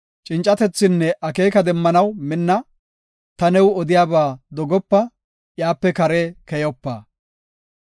Cincatethinne akeeka demmanaw minna; ta new odiyaba dogopa; iyape kare keyopa.